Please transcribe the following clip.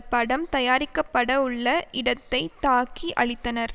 படம் தயாரிக்க படவுள்ள இடத்தை தாக்கி அழித்தனர்